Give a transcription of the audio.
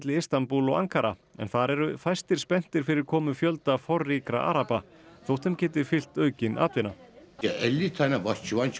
Istanbúl og Ankara en þar eru fæstir spenntir fyrir komu fjölda forríkra araba þótt þeim geti fylgt aukin atvinna